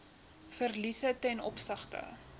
verliese ten opsigte